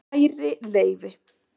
Kæri Leifi